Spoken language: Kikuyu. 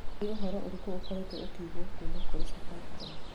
Nĩ ũhoro ũrĩkũ ũkoretwo ũkĩiguwo kuuma kũrĩ safaricom